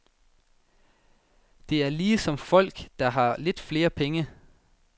Det er ligesom folk, der har lidt flere penge.